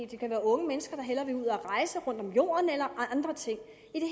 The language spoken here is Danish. det kan være unge mennesker der hellere vil ud at rejse rundt om jorden eller andre ting